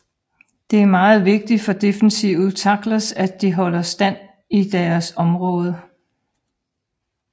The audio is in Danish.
Det er meget vigtigt for defensive tackles at de holder stand i deres område